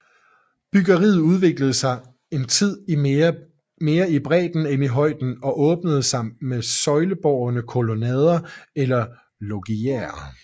Byggeriet udviklede sig en tid mere i bredden end i højden og åbnede sig med søjlebårne kolonnader eller loggiaer